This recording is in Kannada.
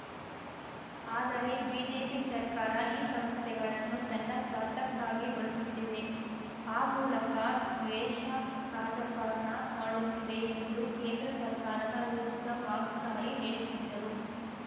ಆದರೆ ಬಿಜೆಪಿ ಸರ್ಕಾರ ಈ ಸಂಸ್ಥೆಗಳನ್ನು ತನ್ನ ಸ್ವಾರ್ಥಕ್ಕಾಗಿ ಬಳಸುತ್ತಿದೆ ಆ ಮೂಲಕ ದ್ವೇಷ ರಾಜಕಾರಣ ಮಾಡುತ್ತಿದೆ ಎಂದು ಕೇಂದ್ರ ಸರ್ಕಾರದ ವಿರುದ್ಧ ವಾಗ್ದಾಳಿ ನೆಡೆಸಿದ್ದರು